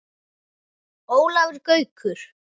Ólafur Gaukur